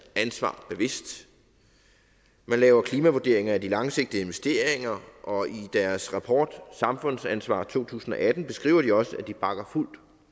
ansvar bevidst man laver klimavurderinger af de langsigtede investeringer og i deres rapport til samfundsansvar to tusind og atten beskriver de også at de bakker fuldt